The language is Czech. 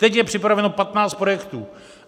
Teď je připraveno patnáct projektů.